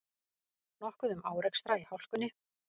Nokkuð um árekstra í hálkunni